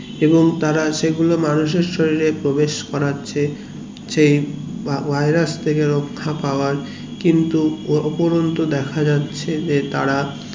এবং তারা সেগুলো মানুষ এর শরীরে প্রবেশ করেছে সেই virus থেকে রক্ষা পাওয়ার কিন্তু উপরোন্ত দেখা যাচ্ছে যে তারা